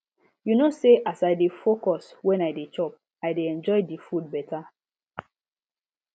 you know say as i dey focus when i dey chop i de enjoy di food beta